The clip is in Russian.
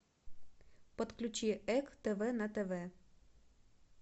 подключи эк тв на тв